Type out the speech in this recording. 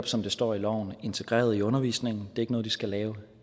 som der står i loven integreret i undervisningen det er ikke noget de skal lave